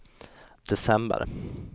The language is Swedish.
december